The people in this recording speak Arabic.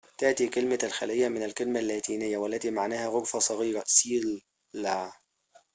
تأتي كلمة الخليّة من الكلمة اللاتينية cella والتي معناها غرفةٌ صغيرةٌ